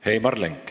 Heimar Lenk.